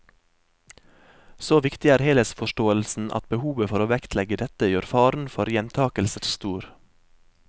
Så viktig er helhetsforståelsen at behovet for å vektlegge dette gjør faren for gjentakelser stor.